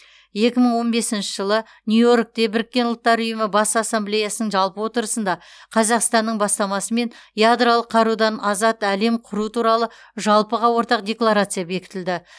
екі мың он бесінші жылы нью йоркте біріккен ұлттар ұйымы бас ассамблеясының жалпы отырысында қазақстанның бастамасымен ядролық қарудан азат әлем құру туралы жалпыға ортақ декларация бекітілді